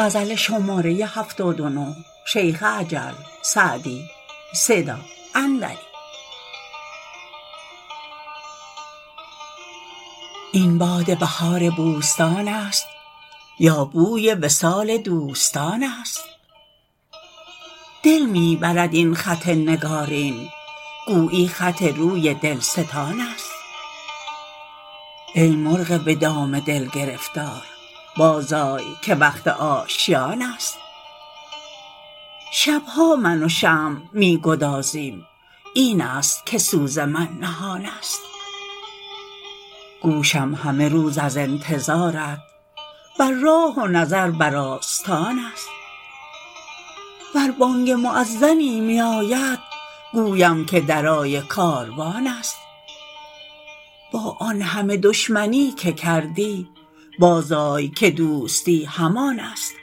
این باد بهار بوستان است یا بوی وصال دوستان است دل می برد این خط نگارین گویی خط روی دلستان است ای مرغ به دام دل گرفتار بازآی که وقت آشیان است شب ها من و شمع می گدازیم این است که سوز من نهان است گوشم همه روز از انتظارت بر راه و نظر بر آستان است ور بانگ مؤذنی میاید گویم که درای کاروان است با آن همه دشمنی که کردی بازآی که دوستی همان است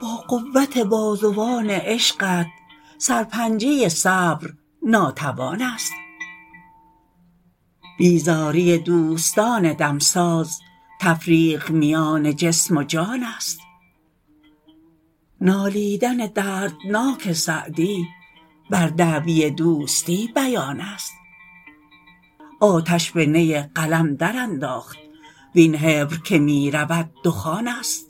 با قوت بازوان عشقت سرپنجه صبر ناتوان است بیزاری دوستان دمساز تفریق میان جسم و جان است نالیدن دردناک سعدی بر دعوی دوستی بیان است آتش به نی قلم درانداخت وین حبر که می رود دخان است